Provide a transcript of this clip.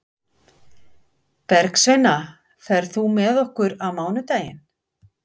Bergsveina, ferð þú með okkur á mánudaginn?